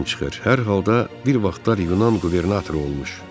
Hər halda bir vaxtlar Yunan qubernatoru olmuş.